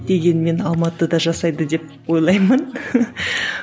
дегенмен алматыда жасайды деп ойлаймын